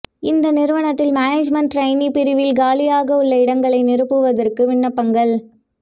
இந்த நிறுவனத்தில் management trainee பிரிவில் காலியாக உள்ள இடங்களை நிரப்புவதற்கு விண்ணப்பங்கள்